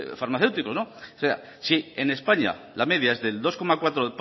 farmacéuticos si en españa la media es del dos coma cuatro